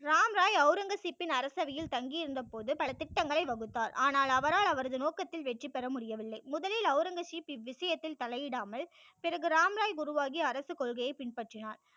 ராம் ராய் ஔரங்கசீப்பின் அரசபையில் தங்கி இருந்த போது பல திட்டங்களை வகுத்தார் ஆனால் அவரால் அவரது நோக்கத்தில் வெற்றி பெற முடியவில்லை முதலில் ஔரங்கசிப் இவ்விசயத்தில் தலை இடாமல் பிறகு ராம் ராய் உருவாகி அரசு கொள்கையை பின்பற்றினார்